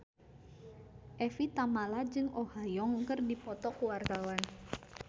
Evie Tamala jeung Oh Ha Young keur dipoto ku wartawan